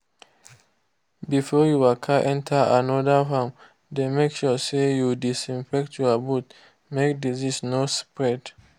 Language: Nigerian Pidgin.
before you waka enter another farm dey make sure say you disinfect your boot make disease no spread.